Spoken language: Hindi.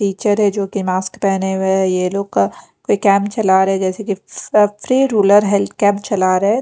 टीचर है जो की मास्क पेहने हुए है ये लोग का कोई कैंप चला रहे जैसे की फ्री रुरल हेल्थ कैंप चल रहा हैं।